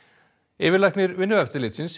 yfirlæknir Vinnueftirlitsins